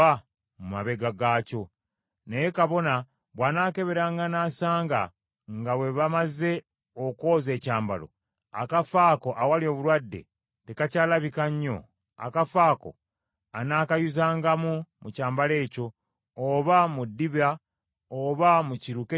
Naye kabona bw’anaakeberanga n’asanga nga bwe bamaze okwoza ekyambalo, akafo ako awali obulwadde tekakyalabika nnyo, akafo ako anaakayuzangamu mu kyambalo ekyo, oba mu ddiba oba mu kiruke kyonna ekyambalwa.